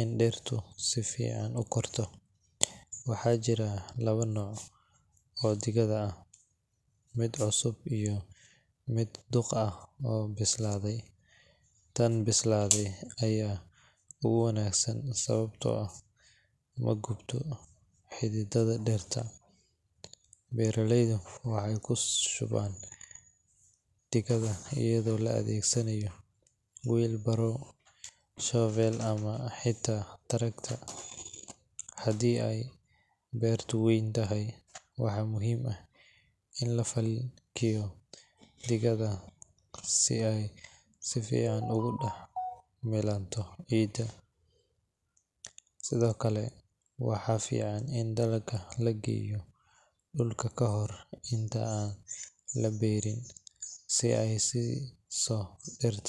in dhirtu si fiican u korto. Waxaa jira laba nooc oo digada ah: mid cusub iyo mid duq ah oo bislaaday. Tan bislaaday ayaa ugu wanaagsan sababtoo ah ma gubto xididdada dhirta. Beeraleydu waxay ku shubaan digada iyadoo la adeegsanayo wheelbarrow, shovel, ama xitaa tractor haddii ay beertu weyn tahay. Waxaa muhiim ah in la falkiyo digada si ay si fiican ugu dhex milanto ciidda. Sidoo kale, waxaa fiican in digada la geliyo dhulka ka hor inta aan la beeri si ay u siiso dhirta xoogga.